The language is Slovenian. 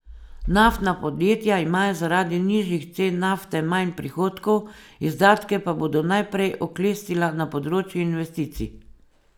Naftna podjetja imajo zaradi nižjih cen nafte manj prihodkov, izdatke pa bodo najprej oklestila na področju investicij.